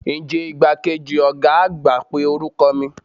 Nje igbakeji oga agba pe oruko mi?